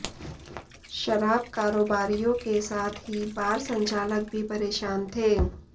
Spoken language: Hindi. शराब कारोबारियों के साथ ही बार संचालक भी परेशान थे